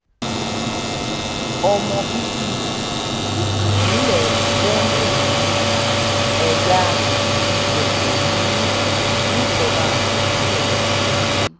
ọmọ bíbí ìpínlẹ̀ benue ni mí ẹ̀yà ìgédé ni mí níjọba ìbílẹ̀ ojú